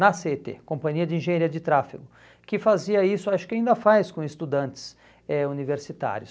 na CET, Companhia de Engenharia de Tráfego, que fazia isso, acho que ainda faz com estudantes eh universitários.